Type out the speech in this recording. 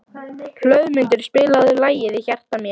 Hlöðmundur, spilaðu lagið „Í hjarta mér“.